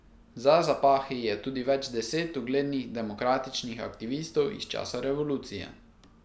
Za zapahi je tudi več deset uglednih demokratičnih aktivistov iz časa revolucije.